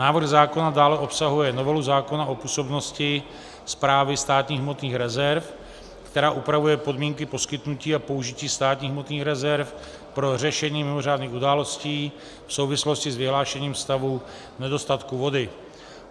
Návrh zákona dále obsahuje novelu zákona o působnosti Správy státních hmotných rezerv, která upravuje podmínky poskytnutí a použití státních hmotných rezerv pro řešení mimořádných událostí v souvislosti s vyhlášením stavu nedostatku vody.